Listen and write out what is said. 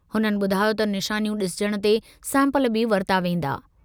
हुननि ॿुधायो त निशानियूं ॾिसजणु ते सैंपल बि वरिता वेंदा।